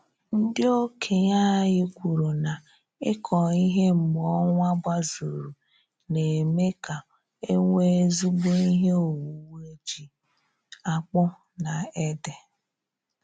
Ndị okenye anyị kwuru na ịkọ ihe mgbe ọnwa gbazuru na-eme ka enwe ezigbo ihe owuwe ji, akpụ na ede